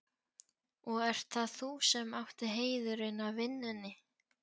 Og ert það þú sem átt heiðurinn af vinnunni?